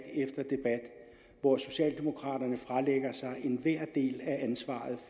hvor socialdemokraterne fralægger sig enhver del af ansvaret